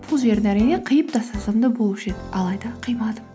бұл жерін әрине қиып тастасам да болушы еді алайда қимадым